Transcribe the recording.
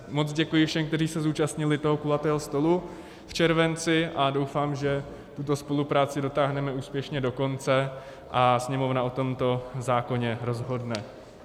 Moc děkuji všem, kteří se zúčastnili toho kulatého stolu v červenci, a doufám, že tuto spolupráci dotáhneme úspěšně do konce a Sněmovna o tomto zákoně rozhodne.